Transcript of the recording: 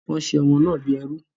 Wọ́n ṣe ọmọ náà bí ẹrú